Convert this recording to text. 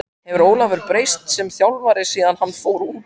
Hefur Ólafur breyst sem þjálfari síðan hann fór út?